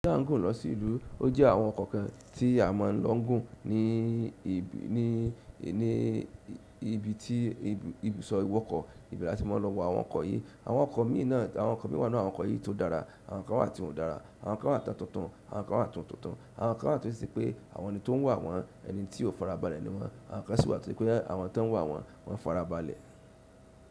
Láńgùn lọ sí ìlú. Ó jẹ́ àwọn kọ̀kan tí a máa ń lo gun ní ibi tí ibùsọ̀ ìwọkọ̀ ìbẹ̀ la ti má a lọ wá àwọn ọkọ̀ yìí. Àwọn ọkọ̀ mìí náà àwọn ọkọ̀ yìí tó dára àwọn kan wà tí won ò dára. Àwọn kan wà tó tuntun, àwọn kan wà tió tuntun, àwọn kan wà tó ṣe pé àwọn ni tó ń wà wọ́n ẹni tí ó farabalẹ̀ ni wọ́n. Àwọn kan sì wà tó ṣe pé àwọn tí wọ́n wà wọ́n, wọ́n farabalẹ̀.